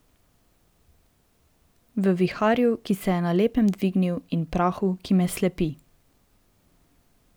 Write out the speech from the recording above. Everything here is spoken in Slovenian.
V viharju, ki se je na lepem dvignil, in prahu, ki me slepi.